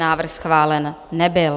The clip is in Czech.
Návrh schválen nebyl.